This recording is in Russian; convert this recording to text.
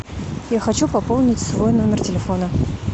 я хочу пополнить свой номер телефона